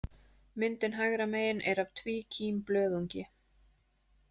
Myndin hægra megin er af tvíkímblöðungi.